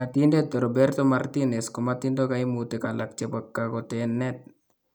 Ng'atindet Roberto Martinez komatindoo kaimutik alak chebo kakooteneet